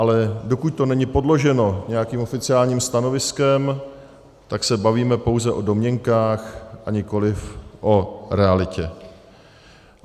Ale dokud to není podloženo nějakým oficiálním stanoviskem, tak se bavíme pouze o domněnkách, a nikoliv o realitě.